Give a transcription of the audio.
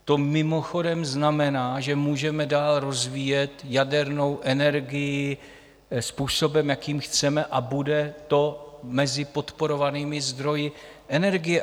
To mimochodem znamená, že můžeme dál rozvíjet jadernou energii způsobem, jakým chceme a bude to mezi podporovanými zdroji energie.